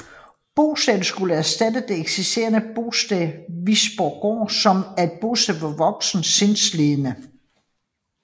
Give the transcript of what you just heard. Bostedet skulle erstatte det eksisterende Bostedet Visborggård som er et bosted for voksne sindslidende